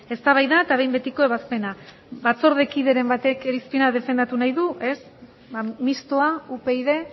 eztabaida eta behin betiko ebazpena batzordekideren batek irizpena defendatu nahi du ez ba mistoa upyd